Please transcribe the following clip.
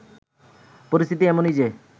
পরিস্থিতি এমনই যে